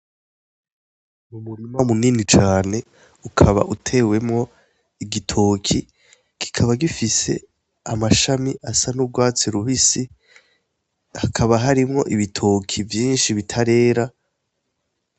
Umurima munini cane ukaba utewemwo igitoki gikaba gifise amashami asa n'ubwatsi rubisi hakaba harimwo ibitoki vyinshi bitarera.